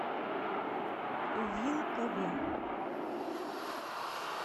вилкове